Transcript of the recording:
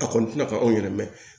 A kɔni tɛna ka anw yɛrɛ mɛn